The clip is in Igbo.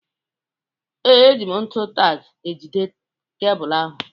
Ee, eji m ntu tack ejide kebụlụ ahụ